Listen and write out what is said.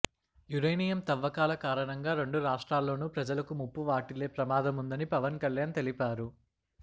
uranium తవ్వకాల కారణంగా రెండు రాష్ట్రాల్లోనూ ప్రజలకు ముప్పు వాటిల్లే ప్రమాదముందని పవన్ కళ్యాణ్ తెలిపారు